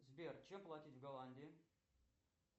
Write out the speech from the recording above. сбер чем платить в голландии